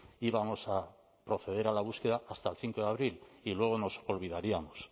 íbamos a proceder a la búsqueda hasta el cinco de abril y luego nos olvidaríamos